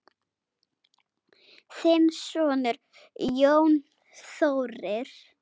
Þinn sonur, Jón Þórir.